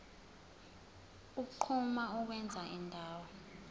unquma ukwenza indawo